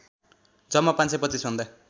जम्मा ५२५ भन्दा